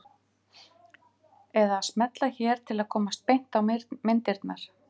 Eða að smella hér til að komast beint á myndirnar.